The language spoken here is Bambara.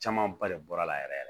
Camanba de bɔra la yɛrɛ